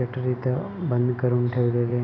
shutter इथ बंद करून ठेवलेले --